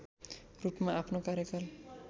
रूपमा आफ्नो कार्यकाल